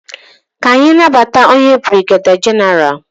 Ka anyị nabata onye brigeda genaralu.